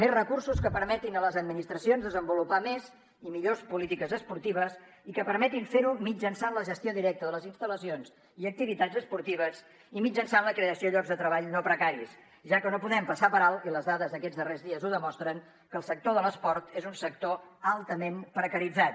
més recursos que permetin a les administracions desenvolupar més i millors polítiques esportives i que permetin fer ho mitjançant la gestió directa de les instal·lacions i activitats esportives i mitjançant la creació de llocs de treball no precaris ja que no podem passar per alt i les dades d’aquests darrers dies ho demostren que el sector de l’esport és un sector altament precaritzat